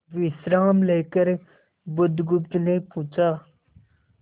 विश्राम लेकर बुधगुप्त ने पूछा